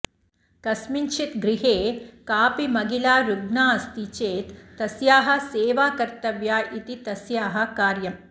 कस्मिंश्चित् गृहे कापि महिला रुग्णा अस्ति चेत् तस्याः सेवा कर्तव्या इति तस्याः कार्यम्